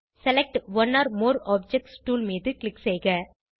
select one or more objects tool மீது click செய்க